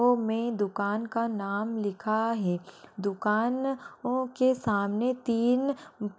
पो मे दुकान का नाम लिखा है। दुकान नो के सामने तीन --